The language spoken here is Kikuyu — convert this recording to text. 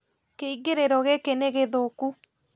Kĩingĩrĩro gĩkĩ nĩgĩthũku